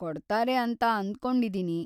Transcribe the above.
ಕೊಡ್ತಾರೆ ಅಂತ ಅನ್ಕೊಂಡಿದೀನಿ.